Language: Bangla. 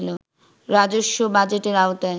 রাজস্ব বাজেটের আওতায়